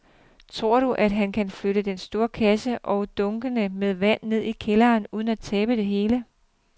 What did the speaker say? Tror du, at han kan flytte den store kasse og dunkene med vand ned i kælderen uden at tabe det hele?